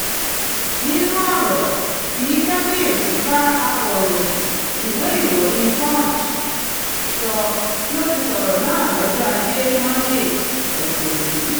nínú ọ̀rọ̀ tí kábíyèsí bá akọ̀ròyìn ìwé ìròyìn punch sọ ló ti sọ̀rọ̀ náà lọ́jọ́ ajé monde ọ̀sẹ̀ yìí